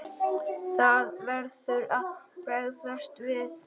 Það verður að bregðast við.